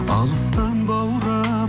алыстан баурап